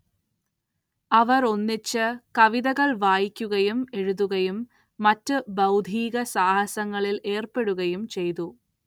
അവരൊന്നിച്ച് കവിതകൾ വായിക്കുകയും എഴുതുകയും മറ്റു ബൗദ്ധിക സാഹസങ്ങളിൽ ഏർപ്പെടുകയും ചെയ്തു.